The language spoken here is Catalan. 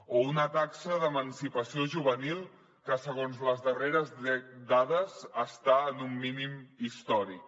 o una taxa d’emancipació juvenil que segons les darreres dades està en un mínim històric